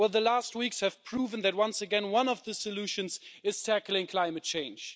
Well the last weeks have proven that once again one of the solutions is tackling climate change.